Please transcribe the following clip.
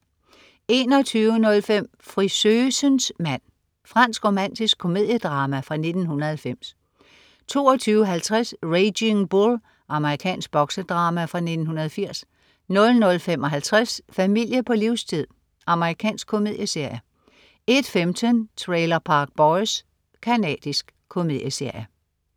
21.05 Frisøsens mand. Fransk romantisk komediedrama fra 1990 22.50 Raging Bull. Amerikansk boksedrama fra 1980 00.55 Familie på livstid. Amerikansk komedieserie 01.15 Trailer Park Boys. Canadisk komedieserie